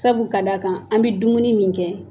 Sabu ka d'a kan an bɛ dumuni min kɛ